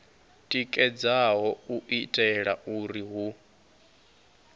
tikedzaho u itela uri hu